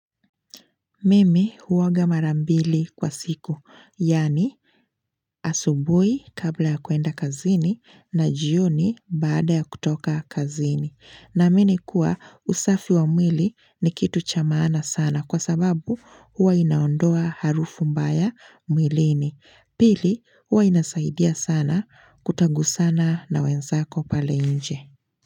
Mimi huoga mara mbili kwa siku, yaani asubuhi kabla ya kuenda kazini na jioni baada ya kutoka kazini. Naamini kuwa usafi wa mwili ni kitu cha maana sana kwa sababu huwa inaondoa harufu mbaya mwilini. Pili, huwa inasaidia sana kutagusana na wenzako pale nje.